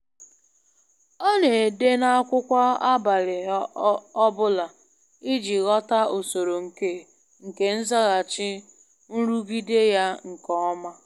Ọ na-ede n'akwụkwọ abalị ọ bụla iji ghọta usoro nke nke nzaghachi nrụgide ya nke ọma.